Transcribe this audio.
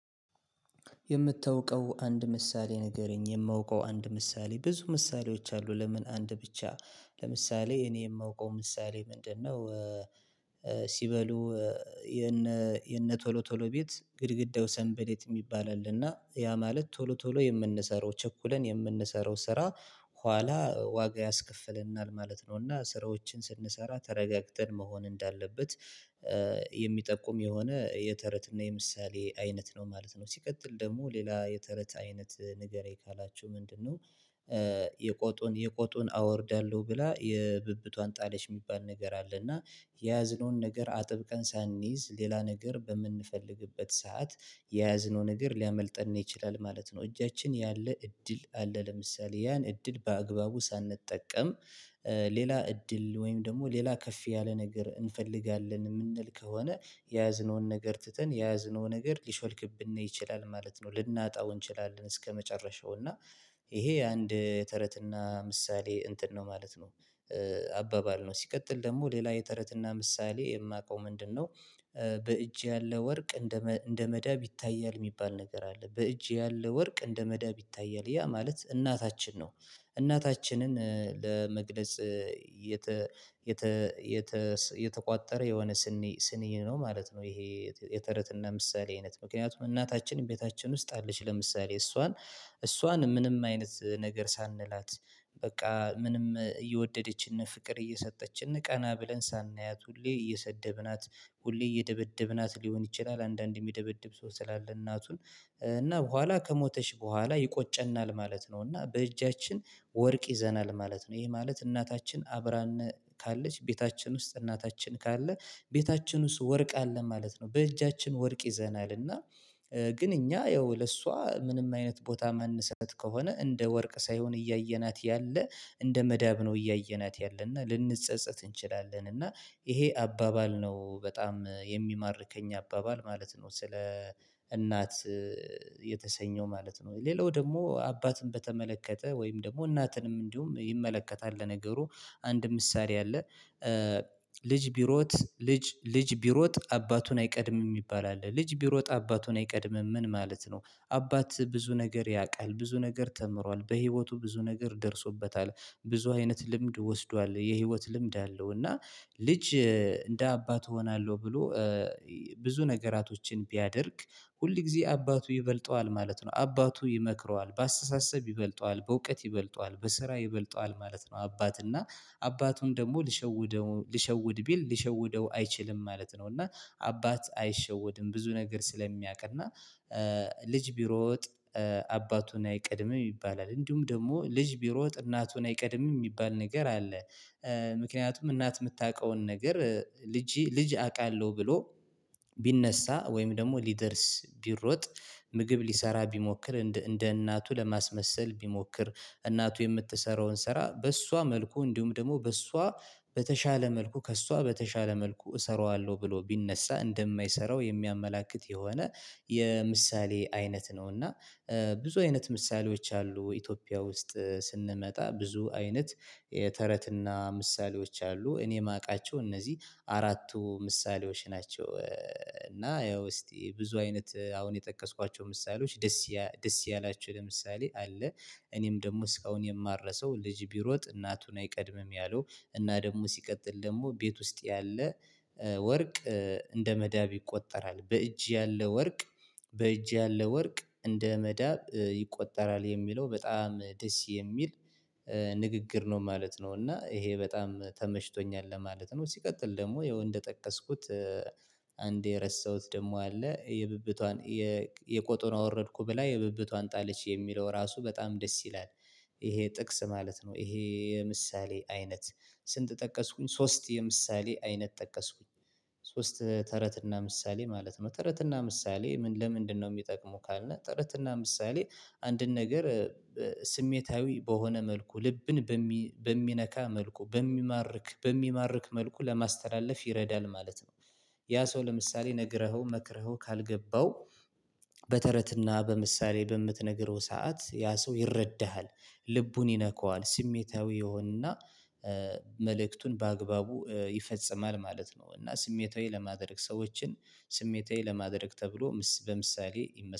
የምታውቀው አንድ ምሳሌ ንገረኝ የማውቀው አንድ ምሳሌ ብዙ ምሳሌዎች አሉ ለምን አንድ ብቻ ለምሳሌ እኔ የማውቀው ምሳሌ ምንድነው? ሲበሉ የነ የነ ቶሎ ቶሎ ቤት ግድግዳው ሰንበሌጥ የሚባል አለና ያ ማለት ቶሎ ቶሎ የምንሰራው ቸኩልን የምንሰራው ስራ ኋላ ዋጋ ያስከፍለናል ማለት ነው። እና ስራዎችን ስንሰራ ተረጋግተን መሆን እንዳለበት የሚጠቁም የሆነ የተረት እና የምሳሌ አይነት ነው ማለት ነው። ሲቀጥል ደግሞ ሌላ የተረት አይነት ንገረኝ ካላችሁ ምንድነው? የቆጡን የቆጡን አወርዳለሁ ብላ የብብቷን ጣለች የሚባል ነገር አለ እና የያዝነውን ነገር አጥብቀን ሳንይዝ ሌላ ነገር በምንፈልግበት ሰዓት የያዝነው ነገር ሊያመልጠን ይችላል ማለት ነው። እጃችን ያለ እድል አለ ለምሳሌ ያን እድል በአግባቡ ሳንጠቀም ሌላ እድል ወይም ደግሞ ሌላ ከፍ ያለ ነገር እንፈልጋለን የምንል ከሆነ የያዝነውን ነገር ትተን የያዝነው ነገር ሊሾልክብን ይችላል ማለት ነው። ልናጣው እንችላለን እስከመጨረሻው እና ይሄ አንድ ተረትና ምሳሌ እንትን ነው ማለት ነው። አባባል ነው ሲቀጥል ደግሞ ሌላ የተረትና ምሳሌ የማውቀው ምንድነው? በእጅ ያለ ወርቅ እንደ እንደ መዳብ ይታያል የሚባል ነገር አለ በእጅ ያለ ወርቅ እንደ መዳብ ይታያል ያ ማለት እናታችን ነው እናታችንን ለመግለጽ የተ የተ የተ የተቋጠረ የሆነ ስንኝ ስንኝ ነው ማለት ነው። ይሄ የተረትና ምሳሌ አይነት ምክንያቱም እናታችን ቤታችን ውስጥ አለች ለምሳሌ እሷን እሷን ምንም አይነት ነገር ሳንላት በቃ ምንም እየወደደችን ፍቅር እየሰጠችን ቀና ብለን ሳናያት ሁሌ እየሰደብናት ሁሌ እየደበደብናት ሊሆን ይችላል አንዳንዴ የሚደበድብ ሰው ስላለ እናቱን እና በኋላ ከሞተች በኋላ ይቆጨናል ማለት ነው። እና በእጃችን ወርቅ ይዘናል ማለት ነው። ይሄ ማለት እናታችን አብራን ካለች ቤታችን ውስጥ እናታችን ካለ ቤታችን ውስጥ ወርቅ አለ ማለት ነው። በእጃችን ወርቅ ይዘናል እና ግን እኛ ያው ለእሷ ምንም አይነት ቦታ የማንሰጥ ከሆነ እንደ ወርቅ ሳይሆን እያየናት ያለ እንደ መዳብ ነው እያየናት ያለና ልንጸጸት እንችላለን እና ይሄ አባባል ነው በጣም የሚማርከኝ አባባል ማለት ነው። ስለ እናት የተሰኘው ማለት ነው ሌላው ደግሞ አባትን በተመለከተ ወይም ደግሞ እናትንም እንዲሁም ይመለከታል። ለነገሩ አንድ ምሳሌ አለ ልጅ ቢሮጥ ልጅ ልጅ ቢሮጥ አባቱን አይቀድምም የሚባል አለ ልጅ ቢሮጥ አባቱን አይቀድምም ምን ማለት ነው? አባት ብዙ ነገር ያውቃል ብዙ ነገር ተምሯል በህይወቱ ብዙ ነገር ደርሶበታል ብዙ አይነት ልምድ ወስዷል የህይወት ልምድ አለው። እና ልጅ እንደ አባት እሆናለሁ ብሎ ብዙ ነገራቶችን ቢያደርግ ሁል ጊዜ አባቱ ይበልጠዋል ማለት ነው አባቱ ይመክረዋል በአስተሳሰብ ይበልጠዋል በእውቀት ይበልጠዋል በስራ ይበልጠዋል ማለት ነው። አባት እና አባቱን ደግሞ ልሸውደው ልሸውድ ቢል ልሸውደው አይችልም ማለት ነው። እና አባት አይሸውድም ብዙ ነገር ስለሚያውቅ እና ልጅ ቢሮጥ አባቱን አይቀድምም ይባላል እንዲሁም ደግሞ ልጅ ቢሮጥ እናቱን አይቀድምም የሚባል ነገር አለ። ምክንያቱም እናት የምታውቀውን ነገር ልጅ ልጅ አውቃለሁ ብሎ ቢነሳ ወይም ደግሞ ሊደርስ ቢሮጥ ምግብ ሊሰራ ቢሞክር እንደ እናቱ ለማስመሰል ቢሞክር እናቱ የምትሰራውን ስራ በሷ መልኩ እንዲሁም ደግሞ በሷ በተሻለ መልኩ ከሷ በተሻለ መልኩ እሰራዋለሁ ብሎ ቢነሳ እንደማይሰራው የሚያመላክት የሆነ የምሳሌ አይነት ነው። እና ብዙ አይነት ምሳሌዎች አሉ ኢትዮጵያ ውስጥ ስንመጣ ብዙ አይነት ተረትና ምሳሌዎች አሉ። እኔ የማውቃቸው እነዚህ አራቱ ምሳሌዎች ናቸው። እና ያው እስቲ ብዙ አይነት አሁን የጠቀስኳቸው ምሳሌዎች ደስ ደስ ያልያቹህ ለምሳሌ አለ እኔም ደግሞ እስካሁን የማረሰው ልጅ ቢሮጥ እናቱን አይቀድምም ያለው እና ደግሞ ሲቀጥል ደግሞ ቤት ውስጥ ያለ ወርቅ እንደ መዳብ ይቆጠራል በእጅ ያለ ወርቅ በእጅ ያለ ወርቅ እንደ መዳብ ይቆጠራል የሚለው በጣም ደስ የሚል ንግግር ነው። ማለት ነው እና ይሄ በጣም ተመችቶኛል ለማለት ነው። ሲቀጥል ደግሞ ያው እንደ ጠቀስኩት አንድ የረሳሁት ደግሞ አለ የብብቷን የቆጡን አወረድኩ ብላ የብብቷን ጣልች የሚለው ራሱ በጣም ደስ ይላል ይሄ ጥቅስ ማለት ነው። ይሄ የምሳሌ አይነት ስንት ጠቀስኩኝ ሶስት የምሳሌ አይነት ጠቀስኩኝ ሶስት ተረትና ምሳሌ ማለት ነው። ተረትና ምሳሌ ለምንድነው የሚጠቅመው ካልን ተረትና ምሳሌ አንድን ነገር ስሜታዊ በሆነ መልኩ ልብን በሚነካ መልኩ በሚማርክ በሚማርክ መልኩ ለማስተላለፍ ይረዳል። ማለት ነው ያ ሰው ለምሳሌ ነግረኸው መክረኸው ካልገባው በተረትና በምሳሌ በምትነግረው ሰዓት ያ ሰው ይረዳሃል ልቡን ይነካዋል ስሜታዊ ይሆንና መልእክቱን በአግባቡ ይፈጽማል ማለት ነው። እና ስሜታዊ ለማድረግ ሰዎችን ስሜታዊ ለማድረግ ተብሎ በምሳሌ ይመስ